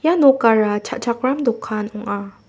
ia nokara cha·chakram dokan ong·a.